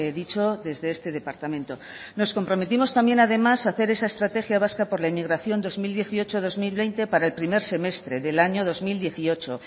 dicho desde este departamento nos comprometimos también además a hacer esa estrategia vasca por la inmigración dos mil dieciocho dos mil veinte para el primer semestre del año dos mil dieciocho